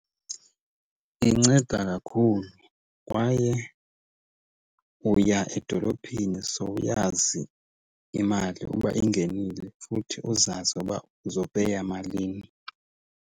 Inceda kakhulu kwaye uya edolophini sowuyazi imali uba ingenile, futhi uzazi uba uzopeya malini.